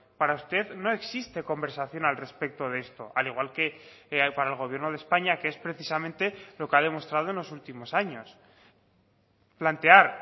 para usted no existe conversación al respecto de esto al igual que para el gobierno de españa que es precisamente lo que ha demostrado en los últimos años plantear